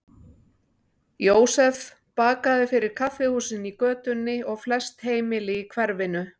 Jósef bakaði fyrir kaffihúsin í götunni og flest heimili í hverfinu.